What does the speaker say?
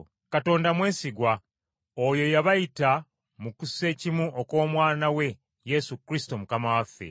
Katonda mwesigwa, oyo eyabayita mu kussekimu okw’Omwana we Yesu Kristo Mukama waffe.